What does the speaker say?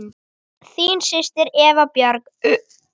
Þín systir, Eva Björg.